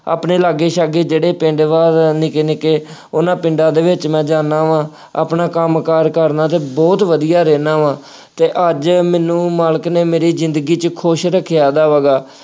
ਆਪਣੇ ਲਾਗੇ ਸਾਗੇ ਜਿਹੜੇ ਪਿੰਡ ਵਾ ਨਿੱਕੇ ਨਿੱਕੇ ਉਹਨਾ ਪਿੰਡਾਂ ਦੇ ਵਿੱਚ ਮੈਂ ਜਾਂਦਾ ਵਾ, ਆਪਣਾ ਕੰਮ ਕਾਰ ਕਰਨਾ ਅਤੇ ਬਹੁਤ ਵਧੀਆ ਰਹਿੰਦਾ ਵਾ ਅਤੇ ਅੱਜ ਮੈਨੂੰ ਮਾਲਕ ਨੇ ਮੇਰੀ ਜ਼ਿੰਦਗੀ ਚ ਖੁਸ਼ ਰੱਖਿਆ ਹੈਗਾ।